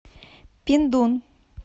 пиндун